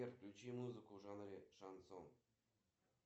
джой киноафиша на сегодня